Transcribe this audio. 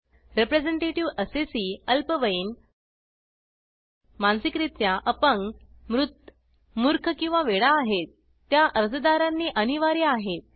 representative assessee अल्पवयीन मानसिकरीत्या अपंग मृत मूर्ख किंवा वेडा आहेत त्या अर्जदारांनी अनिवार्य आहेत